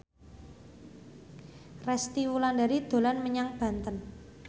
Resty Wulandari dolan menyang Banten